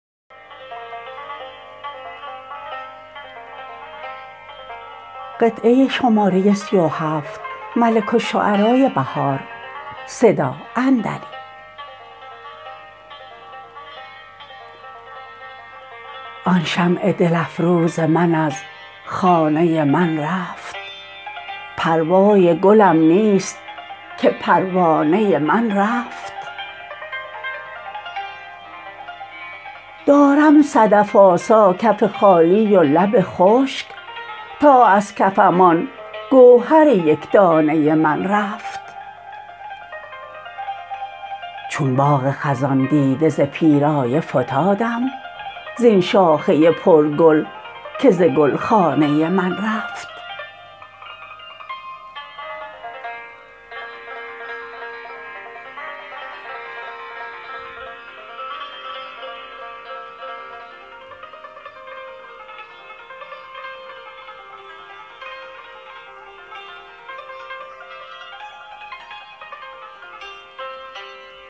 آن شمع دل افروز من از خانه من رفت پروای گلم نیست که پروانه من رفت دارم صدف آسا کف خالی و لب خشک تا ازکفم آن گوهر یکدانه من رفت چون باغ خزان دیده ز پیرایه فتادم زبن شاخه پرگل که زگلخانه من رفت